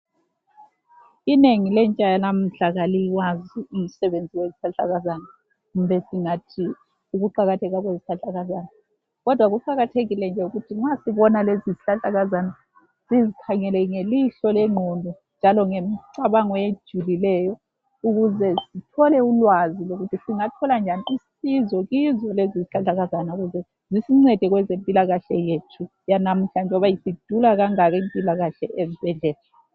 Inengi lentsha yanamuhla kaliwazi umsebenzi wezihlahlakazana kumbe singathi ukuqakatheka kwezihlahlakazana. Kodwa kuqakathekile nje ukuthi nxa sibona lezi zihlahlakazana sizikhangele ngelihlo legqondo njalo ngemcabango ejulileyo ukuze sithole ulwazi ukuthi singathola njani usizo kizo lezi isihlahlakazana ukuze zisincede kwezempilakahle yethu yanamhlanje njengoba isidula kangaka impilakahle ezibhedlela.